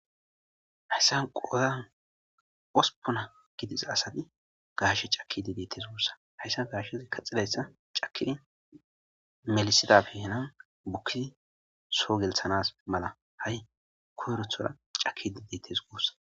hayssan qoozan ospona gidiza asati gaashe cakidi deettes guussa hayssa gaashshez kaxidayssa cakidi melisidabihenan bukkizi soo gelthanas mala ha7i koyrothora cakidi detes guussa